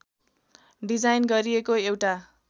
design गरिएको एउटा